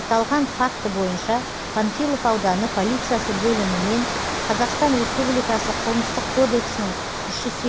аталған факті бойынша панфилов ауданы полициясы бөлімімен қазақстан республикасы қылмыстық кодексінің үш жүз